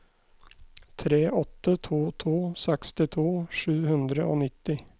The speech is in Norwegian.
tre åtte to to sekstito sju hundre og nitti